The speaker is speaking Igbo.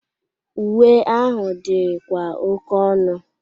Uwe ahụ dịkwa oke ọnu.